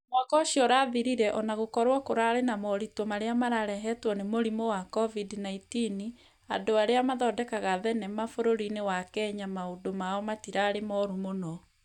Mwaka ũcio ũrathirire, o na gũkorwo kũrarĩ na moritũ marĩa mararehetwo nĩ mũrimũ wa covid-19, andũ arĩa mathondekaga thenema bũrũri-inĩ wa kenya, maũndu mao matĩrarĩ moru mũno.